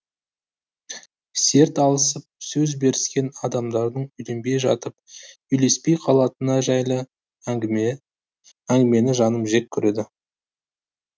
серт алысып сөз беріскен адамдардың үйленбей жатып үйлеспей қалатыны жайлы әнгімені жаным жек көреді